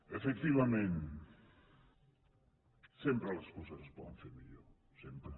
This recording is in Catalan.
efectivament sempre les coses es poden fer millor sempre